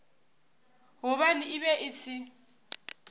gobane e be e se